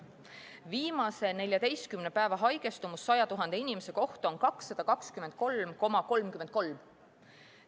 Viimase 14 päeva haigestumus 100 000 inimese kohta on 223,33.